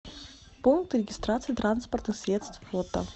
пункт регистрации транспортных средств фото